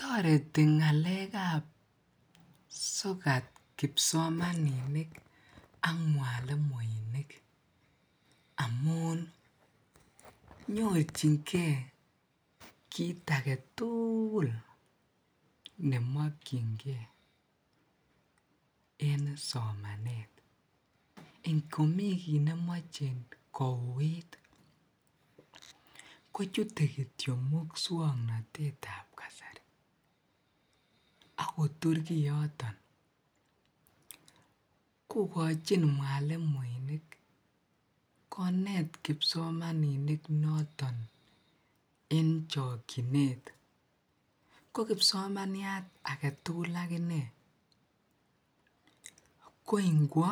Toreti ngalekab sokat kipsomaninik ak mwalimuinik amun nyorchinge kiit aketukul nemokyinge en somanet, ingomii kiit nemoche kouit kochute kitio muswoknotetab kasari ak kotur kioton, kokochin mwalimuinik koneet kipsomaninik en chokyinet, ko kipsomaniat aketukul ak inee ko ingwo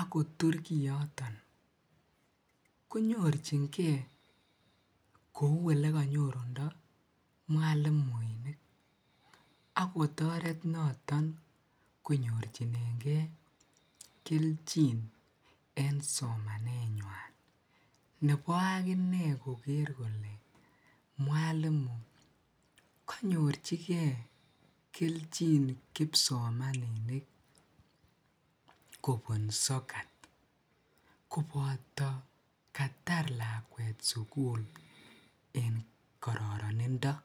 akotur kioton konyorchinge kouu elekonyorudo mwalimuinik ak kotoret noton konyorchinege kelchi en somanenywan nebo akinee koker kolee mwalimu konyorchike kelchin kipsomaninik kobun sokat koboto katar lakwet sukul en kororonindo.